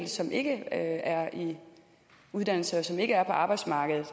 som ikke er i uddannelse og som ikke er på arbejdsmarkedet